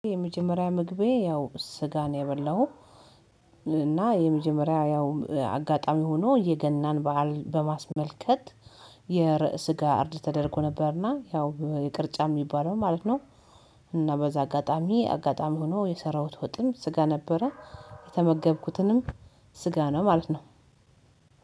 የመጀመሪያ ምግቤ ያው ስጋ ነው የበላሁ። እና የመጀመሪያ ያው አጋጣሚ ሆኖ የገናን በዓል በማስመልከት የስጋ እርድ ተደርጎ ነበር እና ያው የቅርጫ የሚባለው ማለት ነው። እና በዛ አጋጣሚ አጋጣሚ ሆኖ የሰራሁት ወጥም ስጋ ነበረ። የተመገብኩትንም ስጋ ነው ማለት ነው።